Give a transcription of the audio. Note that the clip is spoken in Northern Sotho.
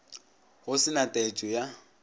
go se na taetšo ya